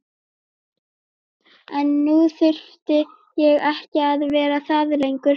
En nú þurfti ég ekki að vera það lengur.